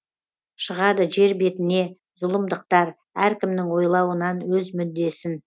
шығады жер беінде зұлымдықтар әркімнің ойлауынан өз мүддесін